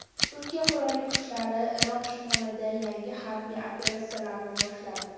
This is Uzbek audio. Turkiya qurolli kuchlari Iroq shimolida yangi harbiy operatsiyani boshladi.